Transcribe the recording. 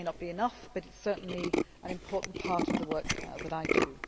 It may not be enough but it is certainly an important part of the work that I